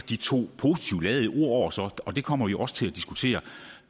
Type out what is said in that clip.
de to positivt ladede ord så dækker og det kommer vi jo også til at diskutere